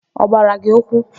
Ọ gbara gị ụkwụ?